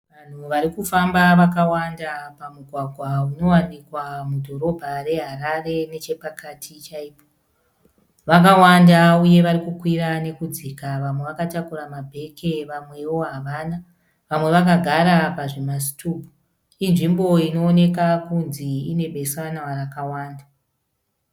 Vanhu vari kufamba vakawanda pamugwagwa unowanikwa mudhorobha reHarare nechepakati chaipo. Vakawanda uye varikukwira nekudzika vamwe vakatakura mabheke vamwewo havana. Vamwe vakagara pazvimasitubhu. Inzvimbo inoonekwa kunzi inebesanwa rakawanda.